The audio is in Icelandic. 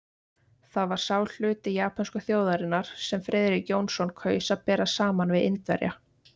Það var sá hluti japönsku þjóðarinnar, sem Friðrik Jónsson kaus að bera saman við Indverja.